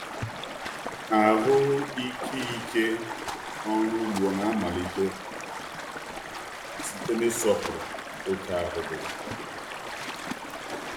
Ahụ ike ike ọrụ ugbo na-amalite site n’ịsọpụrụ oke ahụ gị.